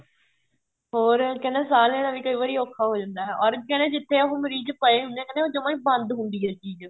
ਹੋਰ ਕਹਿੰਦਾ ਸਾਂਹ ਲੈਣਾ ਵੀ ਕਈ ਵਾਰ ਔਖਾ ਹੋ ਜਾਂਦਾ or ਕਹਿੰਦਾ ਜਿੱਥੇ ਉਹ ਮਰੀਜ ਪਏ ਹੁੰਦੇ ਹੈ ਕਹਿੰਦਾ ਉਹ ਜਮਾਂ ਹੀ ਬੰਦ ਹੁੰਦੀ ਏ ਉਹ ਚੀਜ਼